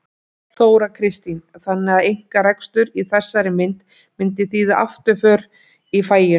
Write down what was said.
Þóra Kristín: Þannig að einkarekstur í þessari mynd myndi þýða afturför í faginu?